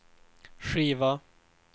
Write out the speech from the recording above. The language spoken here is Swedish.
skiva